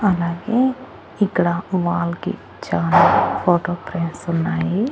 అలాగే ఇక్కడ వాల్ కి చాలా ఫోటో ఫ్రేమ్స్ ఉన్నాయి.